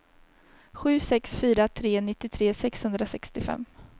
sju sex fyra tre nittiotre sexhundrasextiofem